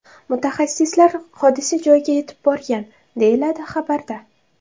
Mutaxassislar hodisa joyiga yetib borgan”, deyiladi xabarda.